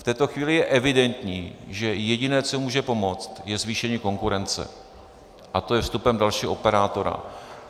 V této chvíli je evidentní, že jediné, co může pomoct, je zvýšení konkurence, a to je vstupem dalšího operátora.